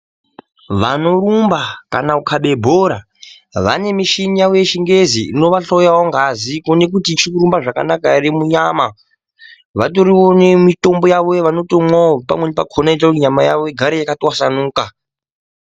Vanorumba kana kukabe bhora vane muchini yavo yechingezi inovahloyawo ngazi kuone kuti ichikurumba zvakanaka ere munyama .Vatoriwo nemitombo yavo yavanomwawo pamweni pakona inoite kuti nyama yawo igare yakatwasanuka.